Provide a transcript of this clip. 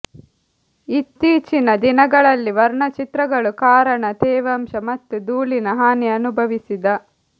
ಇತ್ತೀಚಿನ ದಿನಗಳಲ್ಲಿ ವರ್ಣಚಿತ್ರಗಳು ಕಾರಣ ತೇವಾಂಶ ಮತ್ತು ಧೂಳಿನ ಹಾನಿ ಅನುಭವಿಸಿದ